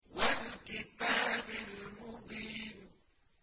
وَالْكِتَابِ الْمُبِينِ